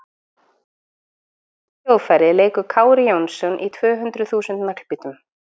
Á hvaða hljóðfæri leikur Kári Jónsson í tv hundruð þúsund Naglbítum?